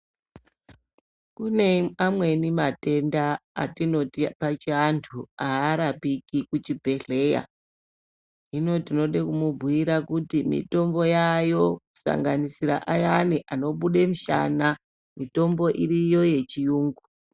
Kune amweni matenda atinoti pachianhu arapiki kuchibhehleya hino tinode kumbhuyira kuti mitombo yaayo kusanganisire ayana anobude mushana mitombo iriyo yechirungu.